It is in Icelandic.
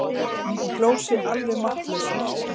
Hún hló sig alveg máttlausa.